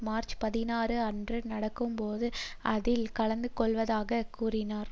March பதினாறு அன்று நடக்கும் போது அதில் கலந்துகொள்வதாக கூறினர்